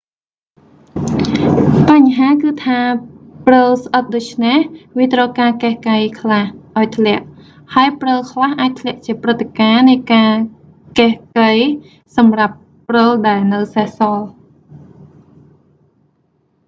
បញ្ហាគឺថាព្រឹលស្អិតដូច្នេះវាត្រូវការកេះកៃខ្លះឱ្យធ្លាក់ ហើយព្រឹលខ្លះអាចធ្លាក់ជាព្រឹត្តិការណ៍នៃការកេះកៃសម្រាប់ព្រឹលដែលនៅសេសសល់